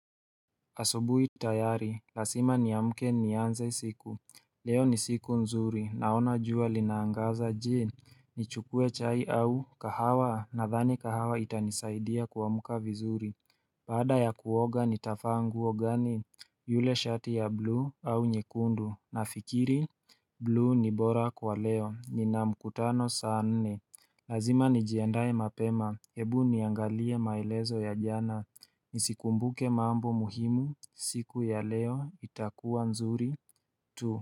Asubuhi tayari, lasima nianze siku. Leo ni siku nzuri, naona jua linaangaza jee. Nichukue chai au kahawa, nadhani kahawa itanisaidia kuamka vizuri. Baada ya kuoga nitafaa nguo gani? Yule shati ya blue au nyekundu, nafikiri? Blue ni bora kwa leo, nina mkutano saa nne. Lazima nijiandae mapema, hebu niangalie maelezo ya jana. Nisikumbuke mambo muhimu siku ya leo itakuwa nzuri tu.